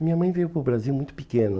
Minha mãe veio para o Brasil muito pequena.